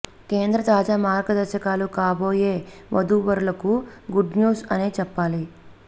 కేంద్ర తాజా మార్గదర్శకాలు కాబోయే వధూ వరులకు గుడ్ న్యూస్ అనే చెప్పాలి